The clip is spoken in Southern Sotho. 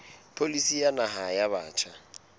pholisi ya naha ya batjha